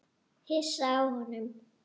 Hissa á honum.